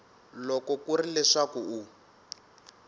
loko ku ri leswaku u